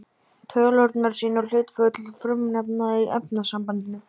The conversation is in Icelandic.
Tölurnar sýna hlutföll frumefnanna í efnasambandinu.